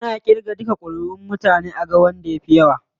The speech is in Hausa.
Ana irga duka kuriʼun mutane aga wanda ya fi yawa.